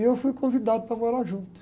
E eu fui convidado para morar junto.